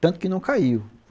Tanto que não caiu.